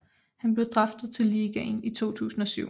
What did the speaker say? Han blev draftet til ligaen i 2007